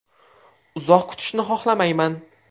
Uzoq kutishni xohlamayman.